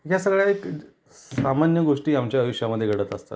या सगळय़ा एक सामान्य गोष्टी आमच्या आयुष्या मध्ये घडत असतात.